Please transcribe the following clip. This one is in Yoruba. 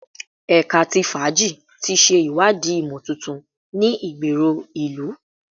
Ẹka ti faaji ti ṣe iwadii imotuntun ni igbero ilu